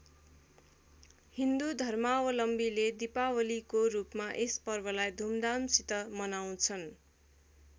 हिन्दू धर्मावलम्वीले दीपावलीको रूपमा यस पर्वलाई धुमधामसित मनाउँछन्।